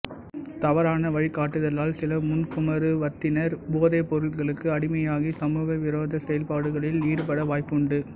தவறான வழிகாட்டுதலால் சில முன்குமரப்பருவத்தினா் போதைப் பொருட்களுக்கு அடிமையாகி சமூக விரோதச் செயல்பாடுகளில் ஈடுபட வாய்ப்புண்டு